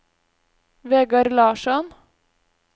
Vegar Larsson